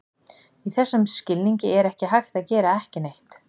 Í þessum skilningi er ekki hægt að gera ekki neitt.